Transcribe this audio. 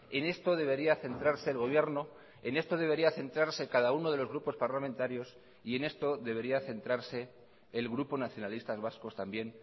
en esto debería centrarse el gobierno en esto debería centrarse cada uno de los grupos parlamentarios y en esto debería centrarse el grupo nacionalistas vascos también